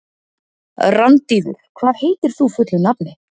Randíður, hvað heitir þú fullu nafni?